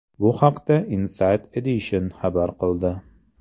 Bu haqda Inside Edition xabar qildi .